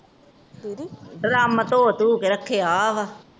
drum ਧੋ ਧੁ ਕੇ ਰਖਿਆ ਵਾ